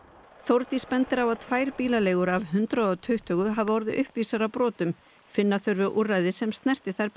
Þórdís bendir á að tvær bílaleigur af hundrað og tuttugu hafi orðið uppvísar að brotum finna þurfi úrræði sem snerti þær